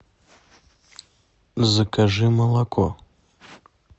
закажи молоко